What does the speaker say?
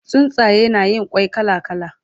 Tsuntsaye na Yin kwai kala kala